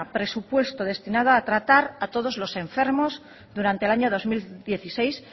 presupuesto destinado a tratar a todos los enfermos durante el año dos mil dieciséis